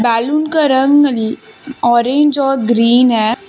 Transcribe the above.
Balloon का रंग orange और ग्रीन है।